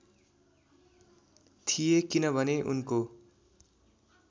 थिए किनभने उनको